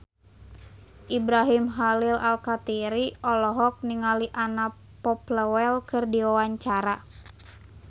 Ibrahim Khalil Alkatiri olohok ningali Anna Popplewell keur diwawancara